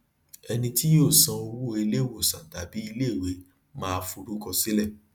ẹni tí yóò san owó iléiwòsàn tàbí iléiwe máa forúkọ sílẹ